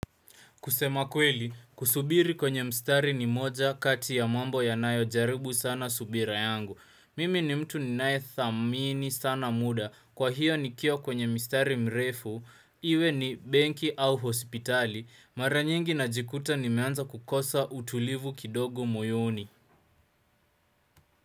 Kusema kweli, kusubiri kwenye mstari ni moja kati ya mambo yanayojaribu sana subira yangu. Mimi ni mtu ninaye thamini sana muda. Kwa hiyo nikiwa kwenye mstari mrefu, iwe ni benki au hospitali. Mara nyingi najikuta nimeanza kukosa utulivu kidogo moyoni.